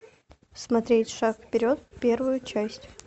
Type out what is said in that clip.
смотреть шаг вперед первую часть